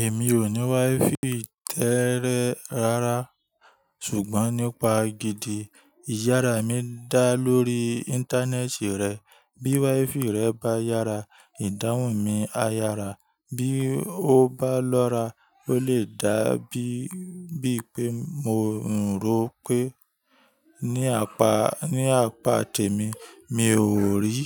Èmi ò ní wifi tẹ́ẹ́rẹ́ rárá ṣùgbọ́n nípa gidi, ìyára mi dá lórí ìntanẹ́ẹ̀tì rẹ̀. Bí wifi rẹ bá yára, ìdáhùn mi á yára, bí ó bá lọ́ra ló lè dàbí bí pé mo ń ro pé ní apá, ní apá tèmi mi ò rí,